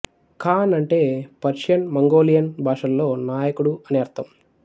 ఖాన్ అంటే Persian Mongolian భాషల్లో నాయకుడు అని అర్ధం